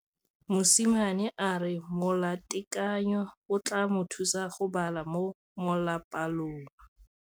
Mosimane a re molatekanyô o tla mo thusa go bala mo molapalong.